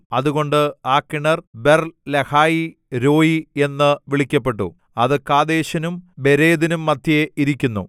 അതുകൊണ്ട് ആ കിണർ ബേർലഹയീരോയീ എന്ന് വിളിക്കപ്പെട്ടു അത് കാദേശിനും ബേരെദിനും മദ്ധ്യേ ഇരിക്കുന്നു